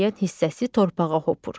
Müəyyən hissəsi torpağa hopur.